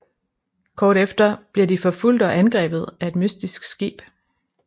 Kort efter bliver de forfulgt og angrebet af et mystisk skib